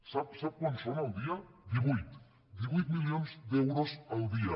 sap quants són al dia divuit divuit milions d’euros al dia